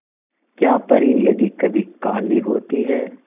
क्या परी यदि कभी काली होती है